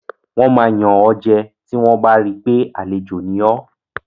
Wọ́n máa yàn ọ́ jẹ tí wọ́n bá ri pé àlejò ni ọ́.